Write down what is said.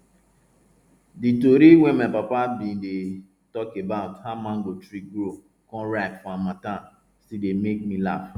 di tori wey my papa bin dey tok about how mango tree grow come ripe for harmattan still dey make me laff